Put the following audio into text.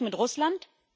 Krieg mit Russland?